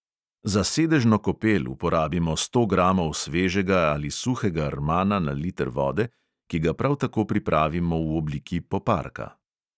Za sedežno kopel uporabimo sto gramov svežega ali suhega rmana na liter vode, ki ga prav tako pripravimo v obliki poparka.